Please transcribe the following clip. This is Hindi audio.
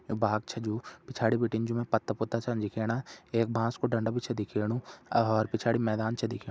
बाग छा जु पिछाड़ी बटिन ज्यू मै पत्ता पुत्ता छन दिखेणा एक बॉस कु डंडा भी छै दिखेणु और पिछाड़ी मैदान छ दिखे।